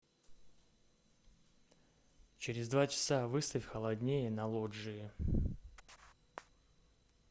через два часа выставь холоднее на лоджии